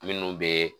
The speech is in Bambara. Minnu bɛ